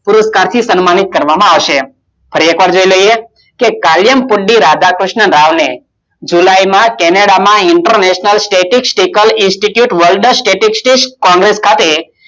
પુરસ્કાર થી સમ્માનિત કરવા માં આવશે અને ફરી એકવાર જોઇ લઇએ કે કાયકુટી રાધાક્રિષ્ણરાવને જુલાઈમાં કેનેડામાં International Statistical Institute World Of Statsic congress